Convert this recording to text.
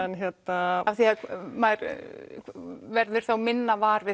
af því maður verður þá minna var við